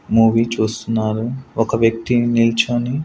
movie చూస్తున్నారు ఒక వ్యక్తి నిల్చొని--